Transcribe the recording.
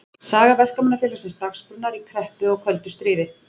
Saga Verkamannafélagsins Dagsbrúnar í kreppu og köldu stríði.